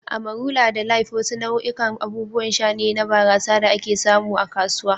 "Amarula da Life" wasu nau'ikan abubuwan sha ne na barasa da ake samu a kasuwa.